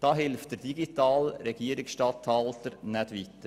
Dabei hilft der digitale Regierungsstatthalter nicht weiter.